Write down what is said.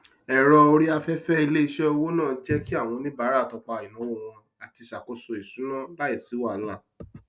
ẹrọ orí afẹfẹ iléiṣẹ owó náà jẹ kí àwọn oníbàárà tọpa ináwó wọn àti ṣàkóso isúná láìsí wahalà